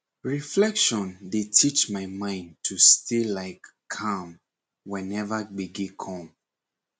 reflection dey teach my mind to stay like calm whenever gbege come